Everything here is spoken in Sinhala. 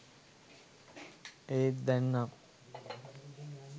ඒත් දැන් නම්